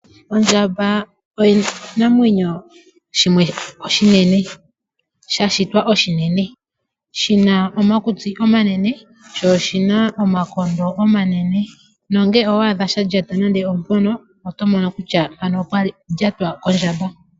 Ondjamba oshinamwenyo shimwe oshinene, sha shitwa oshinene shina omakutsi omanene. Sho oshina omakondo omanene, no ngele owa adha sha lyata nande oompono oto mono kutya mpano opwa lyatwa kondjamba.